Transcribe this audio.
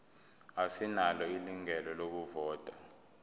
asinalo ilungelo lokuvota